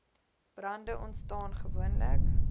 brande ontstaan gewoonlik